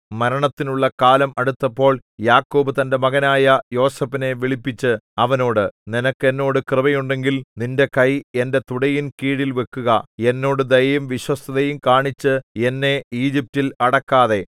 മരണത്തിനുള്ള കാലം അടുത്തപ്പോൾ യാക്കോബ് തന്റെ മകനായ യോസേഫിനെ വിളിപ്പിച്ച് അവനോട് നിനക്ക് എന്നോട് കൃപയുണ്ടെങ്കിൽ നിന്റെ കൈ എന്റെ തുടയിൻകീഴിൽ വെക്കുക എന്നോട് ദയയും വിശ്വസ്തതയും കാണിച്ച് എന്നെ ഈജിപ്റ്റിൽ അടക്കാതെ